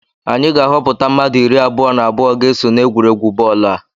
Anyị ga-ahọpụta mmadụ iri abụọ na abụọ ga-eso n'egwuregwu bọọlụ a